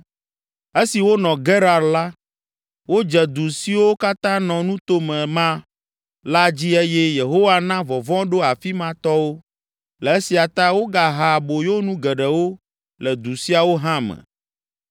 Esi wonɔ Gerar la, wodze du siwo katã nɔ nuto me ma la dzi eye Yehowa na vɔvɔ̃ ɖo afi ma tɔwo. Le esia ta wogaha aboyonu geɖewo le du siawo hã me.